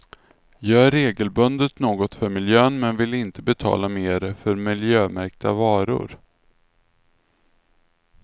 Gör regelbundet något för miljön men vill inte betala mer för miljömärkta varor.